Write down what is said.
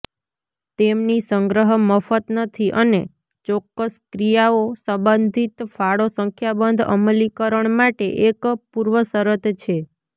તેમની સંગ્રહ મફત નથી અને ચોક્કસ ક્રિયાઓ સંબંધિત ફાળો સંખ્યાબંધ અમલીકરણ માટે એક પૂર્વશરત છે